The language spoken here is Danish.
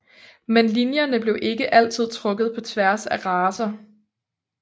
Men linjerne blev ikke altid trukket på tværs af racer